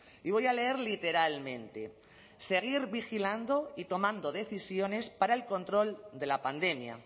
y voy a leer literalmente seguir vigilando y tomando decisiones para el control de la pandemia